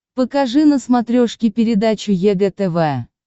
покажи на смотрешке передачу егэ тв